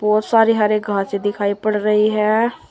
बहुत सारे हरे घासें दिखायी पड़ रही हैं।